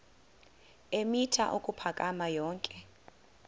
eemitha ukuphakama yonke